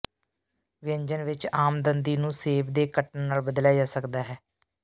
ਵਿਅੰਜਨ ਵਿੱਚ ਆਮ ਦੰਦੀ ਨੂੰ ਸੇਬ ਦੇ ਕੱਟਣ ਨਾਲ ਬਦਲਿਆ ਜਾ ਸਕਦਾ ਹੈ